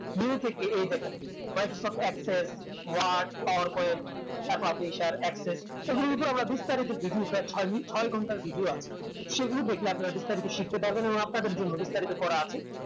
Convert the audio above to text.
new থেকে এই data what is of excel, word, power point axis এগুলোর ভিতর আমরা ঢুকতে পারিতেছি ছয় ঘন্টার video আছে সেগুলো দেখলে আপনারা বিস্তারিত শিখতে পারবেন এবং আপনাদের জন্য বিস্তারিত করা আছে